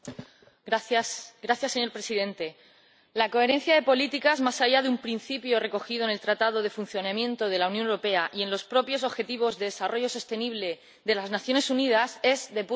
Señor Presidente, la coherencia de las políticas más allá de un principio recogido en el Tratado de Funcionamiento de la Unión Europea y en los propios objetivos de desarrollo sostenible de las Naciones Unidas es de puro sentido común.